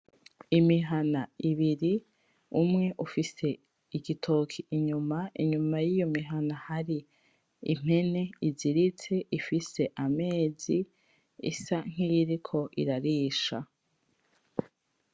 Imihana ibiri umwe ufise igitoke inyuma inyuma yiyo mihana hari impene iziritse ifise amezi isa nkiyiriko irarisha